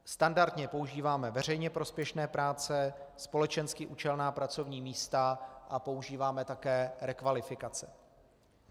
Standardně používáme veřejně prospěšné práce, společensky účelná pracovní místa a používáme také rekvalifikace.